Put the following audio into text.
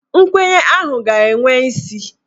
Nkwenye ahụ ga-enwe isi